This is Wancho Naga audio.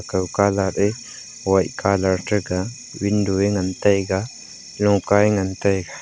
kao kalat ya white colour window ya ngan taiga loka ya ngan taiga.